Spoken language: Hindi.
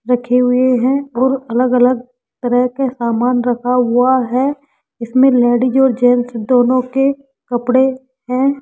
रखे हुए हैं और अलग अलग तरह के सामान रखा हुआ है इसमें लेडीज और जेंट्स दोनों के कपड़े हैं।